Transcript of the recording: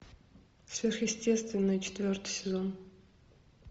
сверхъестественное четвертый сезон